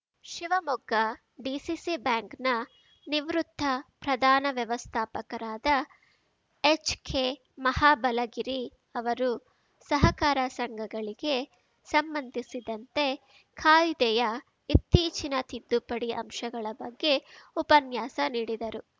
ಶಿವಮೊಗ್ಗ ಡಿಸಿಸಿಬ್ಯಾಂಕ್‌ನ ನಿವೃತ್ತ ಪ್ರಧಾನ ವ್ಯವಸ್ಥಾಪಕರಾದ ಎಚ್‌ಕೆ ಮಹಾಬಲಗಿರಿ ಅವರು ಸಹಕಾರ ಸಂಘಗಳಿಗೆ ಸಂಬಂಧಿಸಿದಂತೆ ಕಾಯ್ದೆಯ ಇತ್ತೀಚಿನ ತಿದ್ದುಪಡಿ ಅಂಶಗಳ ಬಗ್ಗೆ ಉಪನ್ಯಾಸ ನೀಡಿದರು